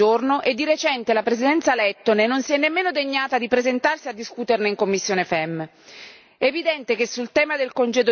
Il Consiglio non ha mai messo il tema all'ordine del giorno, e di recente la Presidenza lettone non si è nemmeno degnata di presentarsi a discuterne in commissione FEMM.